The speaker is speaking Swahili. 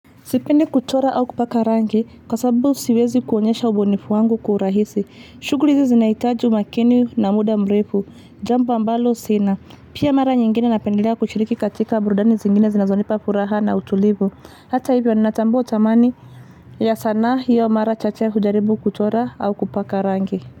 Sipendi kuchora au kupaka rangi kwa sababu siwezi kuonyesha ubunifu wangu kwa urahisi. Shuguli hizi zinahitaji umakini na muda mrefu. Jambo ambalo sina. Pia mara nyingine napendelea kushiriki katika burudani zingine zinazonipa furaha na utulivu. Hata hivyo ni natambua thamani ya sanaa hiyo mara chache kujaribu kuchora au kupaka rangi.